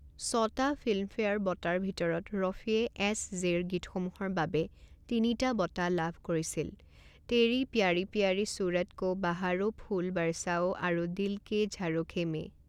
ছটা ফিল্মফেয়াৰ বঁটাৰ ভিতৰত ৰফীয়ে এছ-জেৰ গীতসমূহৰ বাবে তিনিটা বঁটা লাভ কৰিছিল তেৰী প্যাৰি প্যাৰি সুৰট কো বাহাৰো ফুল বৰছাও আৰু দিল কে ঝাৰোখে মে।